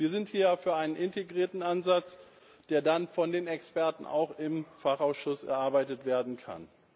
Wir sind hier für einen integrierten Ansatz, der dann auch von den Experten im Fachausschuss erarbeitet werden kann.